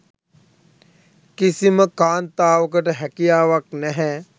කිසිම කාන්තාවකට හැකියාවක් නැහැ.